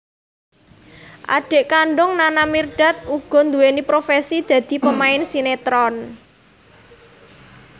Adhik kandung Nana Mirdad uga nduweni profesi dadi pemain sinetron